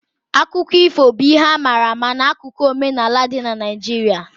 Akụkọ ifo bụ ihe a mara amala 'akụkụ omenaala dị n' Naijiria